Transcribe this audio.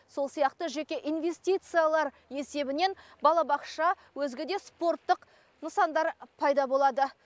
сол сияқты жеке инвестициялар есебінен балабақша өзге де спорттық нысандар пайда болады